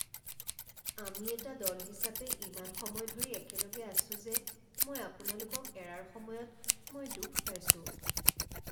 আমি এটা দল হিচাপে ইমান সময় ধৰি একেলগে আছো যে মই আপোনালোকক এৰাৰ সময়ত মই দুখ পাইছো